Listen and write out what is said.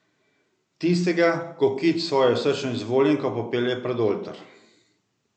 Tistega, ko Kit svojo srčno izvoljenko popelje pred oltar.